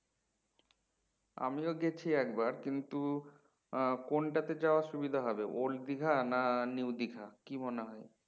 আমিও গেছি একবার কিন্তু কোনটাতে যাওয়া সুবিধা হবে old দীঘা না new দীঘা কি মনে হয়?